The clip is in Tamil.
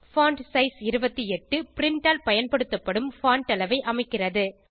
பான்ட்சைஸ் 28 பிரின்ட் ஆல் பயன்படுத்தப்படும் பான்ட் அளவை அமைக்கிறது